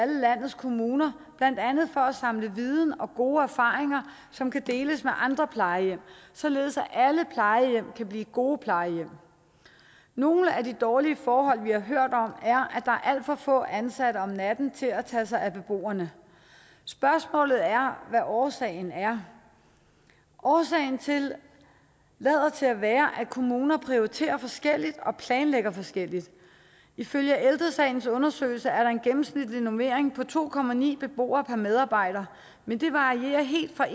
i landets kommuner blandt andet for at samle viden og gode erfaringer som kan deles med andre plejehjem således at alle plejehjem kan blive gode plejehjem nogle af de dårlige forhold vi har hørt om er at er alt for få ansatte om natten til at tage sig af beboerne spørgsmålet er hvad årsagen er årsagen lader til at være at kommuner prioriterer forskelligt og planlægger forskelligt ifølge ældre sagens undersøgelser er der en gennemsnitlig normering på to beboere per medarbejder men det varierer helt fra